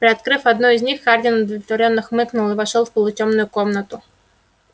приоткрыв одну из них хардин удовлетворённо хмыкнул и вошёл в полутемную комнату